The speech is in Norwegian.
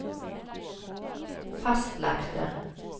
fastlagte